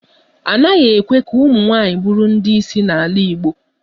A naghị ekwe ka ụmụnwaanyị bụrụ ndị isi n'ala Igbo